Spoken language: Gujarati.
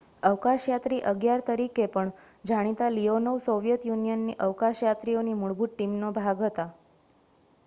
"""અવકાશયાત્રી 11" તરીકે પણ જાણીતા લીયોનોવ સોવિયેત યુનિયનની અવકાશયાત્રીઓની મૂળભૂત ટીમનો ભાગ હતા.